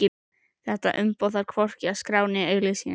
Þetta umboð þarf hvorki að skrá né auglýsa.